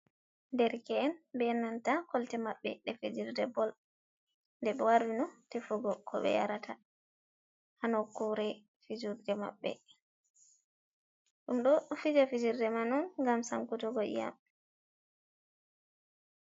Derke’en be nanta kolte maɓɓe ɗe fijirde bol. Nde ɓe warino tefugo ko ɓe yarata ha nokkure fijirde maɓɓe. Ɗum ɗo fija fijirde man on ngam sankutugo iyam.